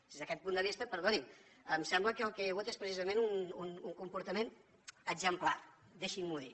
des d’aquest punt de vista perdoni’m em sembla que el que hi ha hagut és precisament un comportament exemplar deixin m’ho dir